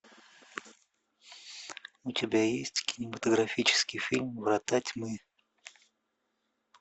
у тебя есть кинематографический фильм врата тьмы